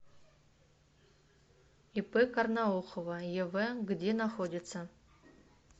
ип карнаухова ев где находится